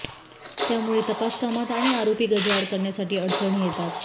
त्यामुळे तपास कामात आणि आरोपी गजाआड करण्यासाठी अडचणी येतात